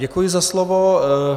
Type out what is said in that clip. Děkuji za slovo.